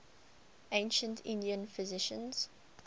ancient indian physicians